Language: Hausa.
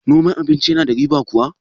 noman abinci yana da riba kuwa?